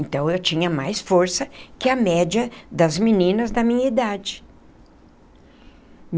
Então, eu tinha mais força que a média das meninas da minha idade.